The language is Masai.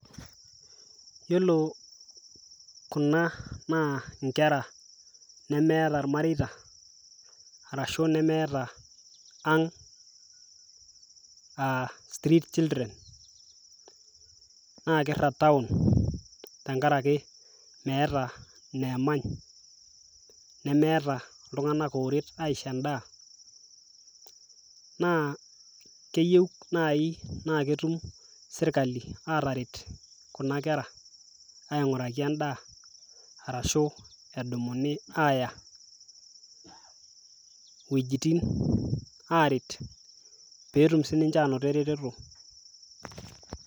iyiolo kuna naa nkera nemeeta irmareita arashu nemeta ang' aa street children naa kirag townvtenkaraki meeta ineemany, nemeeta iltunganak ooret aiishoo edaa. naa keyieu nai naa ketum sirkali aataret kuna kera aing'uraki edaa. ashu edumuni aat=ya iwuejitin aaret, pee etum sii ninche aanoto eretoto.